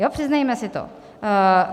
Jo, přiznejme si to.